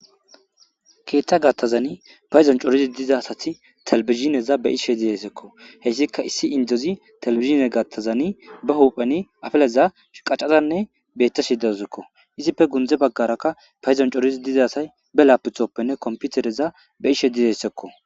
Keeththa gattazani payzon corizi diza asati telbizineza be ishe dizessekko heyssika issi indozi telebizine gattazani ba hupheni afeleza qaccazanne betta shidauzekko izipfe gundze baggaraka payzon corizi dizasay be laaputhoppenne komputereza be ishe didessekko